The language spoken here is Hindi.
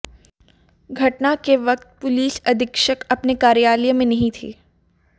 घटना के वक्त पुलिस अधीक्षक अपने कार्यालय में नही थे